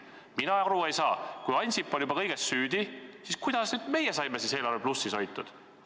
Mina aru ei saa: kui Ansip on juba kõiges süüdi, siis kuidas meie saime eelarve plussis hoitud?